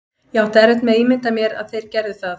Ég átti erfitt með að ímynda mér að þeir gerðu það.